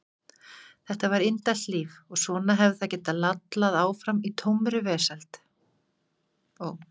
Þetta var indælt líf og svona hefði það getað lallað áfram í tómri velsæld.